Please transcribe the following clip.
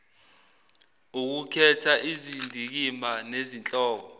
ukukhetha izindikimba nezihloko